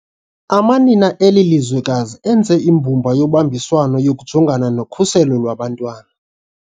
Amanina eli lizwekazi enze imbumba yobambiswano yokujongana nokhuselo lwabantwana.